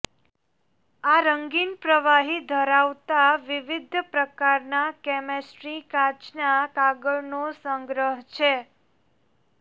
આ રંગીન પ્રવાહી ધરાવતા વિવિધ પ્રકારના કેમિસ્ટ્રી કાચના કાગળનો સંગ્રહ છે